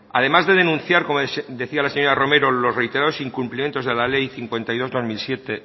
además de denunciar como decía la señora romero los reiterados incumplimientos de la ley cincuenta y dos barra dos mil siete